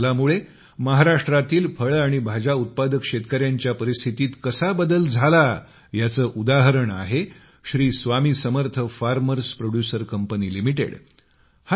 या बदलामुळे महाराष्ट्रातील फळे आणि भाज्या उत्पादक शेतकऱ्यांच्या परिस्थितीत कसा बदल झाला याचे उदाहरण आहे Shri Swami Samarth farmers producer company limited